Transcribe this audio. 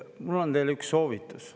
Mul on teile üks soovitus.